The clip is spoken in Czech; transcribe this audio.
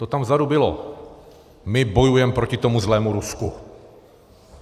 To tam vzadu bylo - my bojujem proti tomu zlému Rusku.